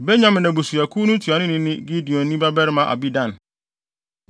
Benyamin abusuakuw ntuanoni ne Gideoni babarima Abidan;